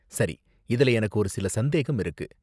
சரி, இதுல எனக்கு ஒருசில சந்தேகம் இருக்கு.